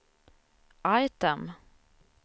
item